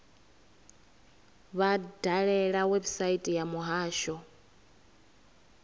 vha dalele website ya muhasho